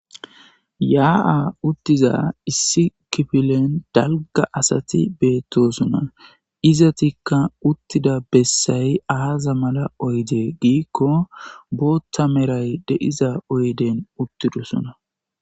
yaa7a uttiza issi kifilen dalga asati beettosona izatikka uttida bessay aaza mala oyde giikko bootta meray de7iza oyden uttidosona.